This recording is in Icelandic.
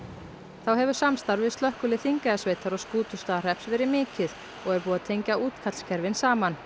þá hefur samstarf við Slökkvilið Þingeyjarsveitar og Skútustaðahrepps verið mikið og er búið að tengja útkallskerfin saman